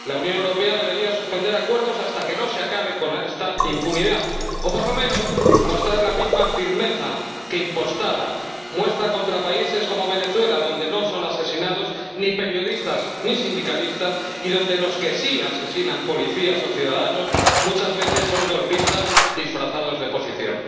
La Unión Europea debería suspender acuerdos hasta que no se acabe con esta impunidad o, por lo menos, mostrar la misma firmeza que, impostada, muestra contra países como Venezuela, donde no son asesinados ni periodistas ni sindicalistas y donde los que sí asesinan policías o ciudadanos muchas veces son golpistas disfrazados de oposición.